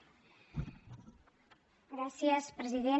gràcies president